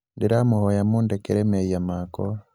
ndĩramũhoya mũndekere mehia makwa